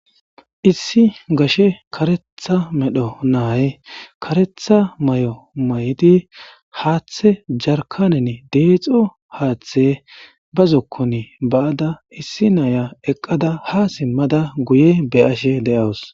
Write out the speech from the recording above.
Issi gashe karetha medho naay karetha may'o may'di haaththe jarkanen deexo haaththe bazzokkon baada issi naaya eqqada ha simmada guye be ashe de'awus